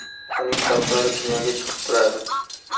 Uning shoxlari dunyoga chiqib turadi.